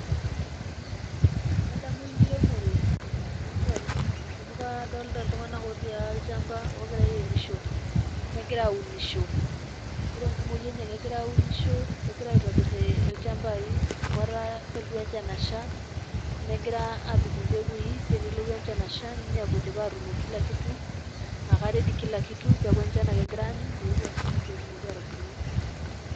Adamu enkiremore tenadol amu kadolita iltung'anak otii olchamba ogira airemisho negira aunisho. Ore enkumoi enye egira aunisho kegira aitobir ilchambai amu ketaa keltu enchan asha negira aapik imbekui pee anelotu enchan asha ninepu idipa atunoki kila kitu ake ready kila kitu pee eku enchan ake egira aanyu meeu asha pee etumoki atubulu.